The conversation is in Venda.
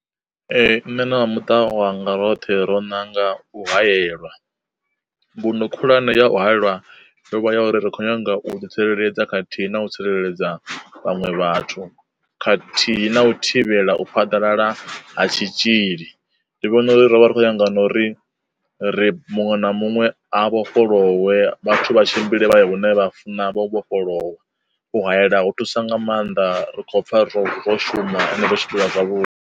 Ee nṋe na vhamuṱa wanga roṱhe ro nanga u hayela. Mbuno khulwane ya u haelwa yo vha ya uri ri khou nyanga u ḓi tsireledza khathihi na u tsireledza vhaṅwe vhathu, khathihi na u thivhela u phaḓalala ha tshitzhili. Ndi vhona uri rovha rikho nyaga nori ri muṅwe na muṅwe a vhofholowe vhathu vha tshimbile vha ya hune vha funa vho vhofholowa, u hayela ho thusa nga maanḓa ri khou pfha ro shuma ende ro tshimbila zwa vhu.